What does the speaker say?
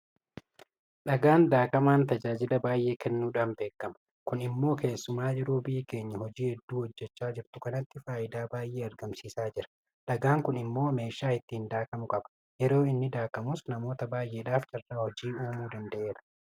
Dhagaan daakamaan tajaajila baay'ee kennuudhaan beekama. Kun immoo keessumaa yeroo biyyi keenya hojii hedduu hojjechaa jirtu kanatti faayidaa baay'ee argamsiisaa jira. Dhagaan kun immoo meeshaa ittiin daakamu qaba. Yeroo inni daakamus namoota baay'eedhaaf carraa hojii uumuu danda'eera.